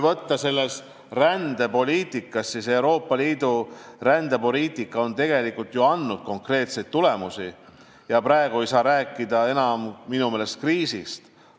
Euroopa Liidu rändepoliitika on ju andnud konkreetseid tulemusi ja minu meelest ei saa praegu enam rääkida kriisist.